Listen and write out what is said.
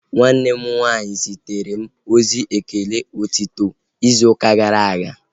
Nwanne m nwaanyị zitere m ozi ekele otito izu ụka gara aga